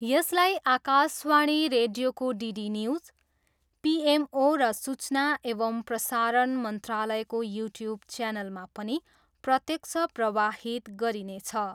यसलाई आकाशवाणी रेडियोको, DD news, PMO र सूचना एवं प्रसारण मन्त्रालयको युट्युब च्यानलमा पनि प्रत्यक्ष प्रवाहित गरिनेछ।